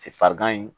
Farigan in